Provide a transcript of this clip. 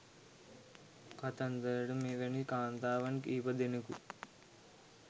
කතන්දරට මෙවැනි කාන්තාවන් කිහිප දෙනෙකු